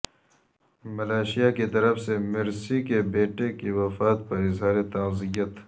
Malaysia کی طرف سے مرسی کے بیٹے کی وفات پر اظہار تعزیت